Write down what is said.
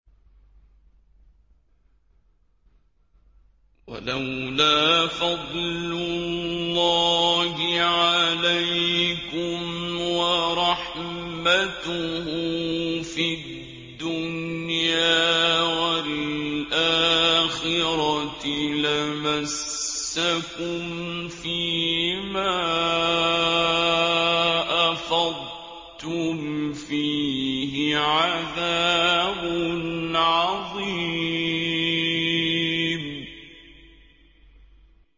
وَلَوْلَا فَضْلُ اللَّهِ عَلَيْكُمْ وَرَحْمَتُهُ فِي الدُّنْيَا وَالْآخِرَةِ لَمَسَّكُمْ فِي مَا أَفَضْتُمْ فِيهِ عَذَابٌ عَظِيمٌ